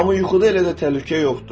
Amma yuxuda elə də təhlükə yoxdur.